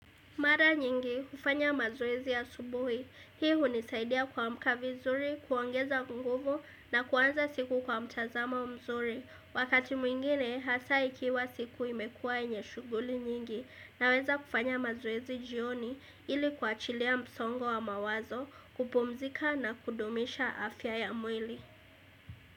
Mara nyingi hufanya mazoezi asubuhi. Hii hunisaidia kwa kuamka vizuri, kuongeza nguvu na kuanza siku kwa mtazamo mzuri. Wakati mwingine hasa ikiwa siku imekuwa yenye shughuli nyingi naweza kufanya mazoezi jioni ili kua chilia msongo wa mawazo kupumzika na kudumisha afya ya mwili.